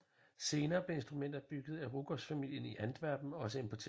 Senere blev instrumenter bygget af Ruckers familien i Antwerpen også importeret